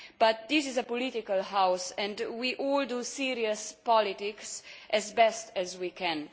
But this is a political House, and we all do serious politics as best we can.